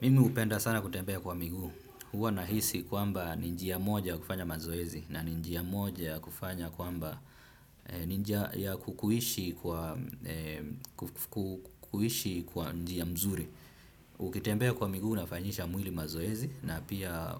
Mimi hupenda sana kutembea kwa miguu, huwa nahisi kwamba ni njia moja ya kufanya mazoezi na ni njia moja ya kufanya kwamba ni njia ya kukuishi kwa njia mzuri. Ukitembea kwa miguu unafanyisha mwili mazoezi na pia